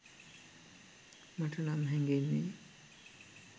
මටනම් හැගෙන්නේ.